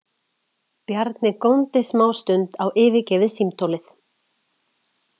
Bjarni góndi smástund á yfirgefið símtólið.